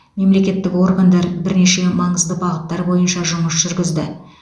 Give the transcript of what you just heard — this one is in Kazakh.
мемлекеттік органдар бірнеше маңызды бағыттар бойынша жұмыс жүргізді